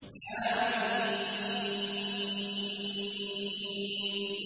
حم